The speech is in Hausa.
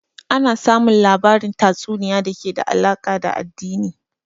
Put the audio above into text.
Ana samun labarin tatsuniay da ke da alaka da addini